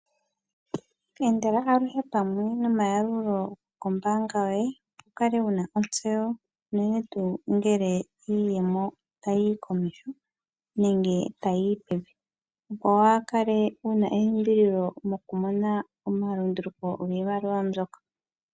Endela aluhe pamwe nomayalulo kombaanga yoye , wu kale wu na otseyo ,unene tuu ngele iiyemo ta yiyi komeho nenge ta yiyi pevi, opo waa kale wu na elimbililo mo ku mona omalundulu ko giimaliwa mbyoka.